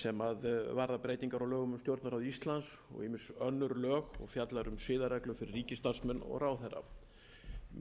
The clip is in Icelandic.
sem varðar breytingar á lögum um stjórnarráð íslands og ýmis önnur lög og fjallar um siðareglur fyrir ríkisstarfsmenn og ráðherra